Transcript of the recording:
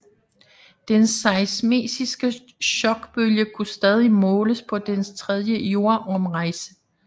Den seismiske chokbølge kunne stadig måles på dens tredje jordomrejse